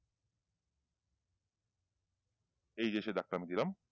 এইযে সেই দাগ টা আমি দিলাম।